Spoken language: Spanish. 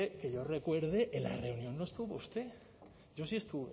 que yo recuerde en la reunión no estuvo usted yo sí estuve